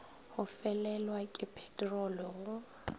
go felelwa ke peterolo go